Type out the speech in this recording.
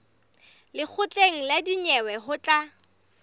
lekgotleng la dinyewe ho tla